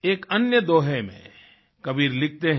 एक अन्य दोहे में कबीर लिखते हैं